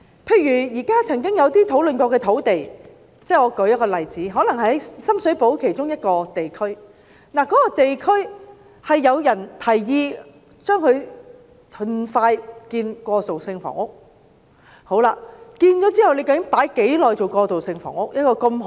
例如在一些曾經討論的土地，如在深水埗的一個地區，可能有人提議盡快興建過渡性房屋，但是，究竟一幅如此好的土地會用來提供過渡性房屋多少年？